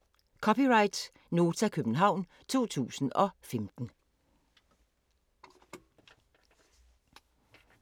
(c) Nota, København 2015